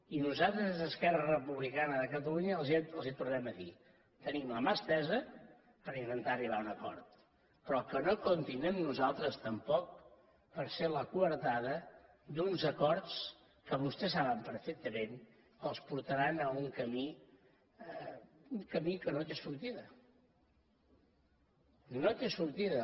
i nosaltres des d’esquerra republicana de catalunya els ho tornem a dir tenim la mà estesa per intentar arribar a un acord però que no comptin amb nosaltres tampoc per ser la coartada d’uns acords que vostès saben perfectament que els portaran a un camí que no té sortida no té sortida